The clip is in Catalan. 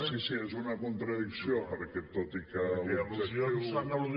sí sí és una contradicció perquè tot i que l’objectiu